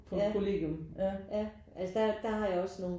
Var det i Aalborg du boede på kollegium? Ja